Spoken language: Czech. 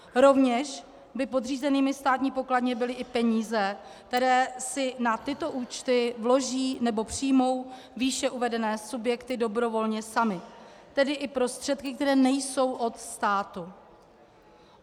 Rovněž by podřízenými Státní pokladně byly i peníze, které si na tyto účty vloží nebo přijmou výše uvedené subjekty dobrovolně samy, tedy i prostředky, které nejsou od státu.